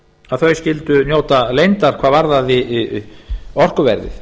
að þau skyldu njóta leyndar hvað varðaði orkuverðið